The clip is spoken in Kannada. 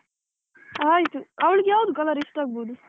ಆಯ್ತು ಅವಳಿಗೆ ಯಾವ್ದು colour ಇಷ್ಟಾಗ್ಬಹುದು?